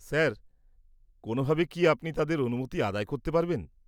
Sir, কোনোভাবে কি আপনি তাদের অনুমতি আদায় করতে পারবেন?